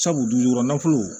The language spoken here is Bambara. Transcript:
Sabu du kɔnɔ nafolo